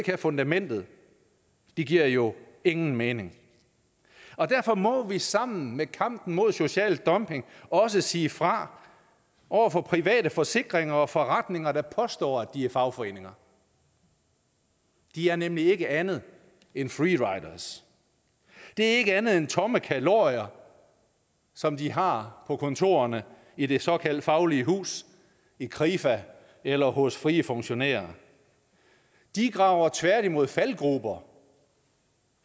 have fundamentet det giver jo ingen mening derfor må vi sammen i kampen mod social dumping også sige fra over for private forsikringer og forretninger der påstår at de er fagforeninger de er nemlig ikke andet end free riders det er ikke andet end tomme kalorier som de har på kontorerne i det såkaldt faglige hus i krifa eller hos frie funktionærer de graver tværtimod faldgrupper